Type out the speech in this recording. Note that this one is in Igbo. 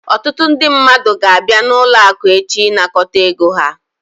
Ọtụtụ ndị mmadụ ga-abịa n'ụlọ akụ echi ịnakọta ego ha